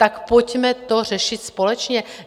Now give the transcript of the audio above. Tak pojďme to řešit společně!